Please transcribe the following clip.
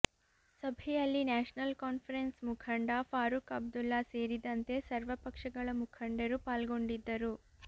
ಸಭೆಯಲ್ಲಿ National Conference ಮುಖಂಡ ಫಾರೂಕ್ ಅಬ್ದುಲ್ಲಾ ಸೇರಿದಂತೆ ಸರ್ವ ಪಕ್ಷಗಳ ಮುಖಂಡರು ಪಾಲ್ಗೊಂಡಿದ್ದರು